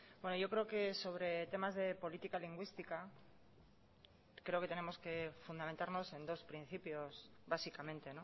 bueno yo creo que sobre temas de política lingüística creo que tenemos que fundamentarnos en dos principios básicamente